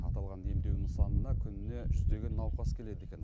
аталған демдеу нысанына күніне жүздеген науқас келеді екен